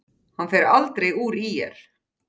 Hann fer aldrei úr ÍR.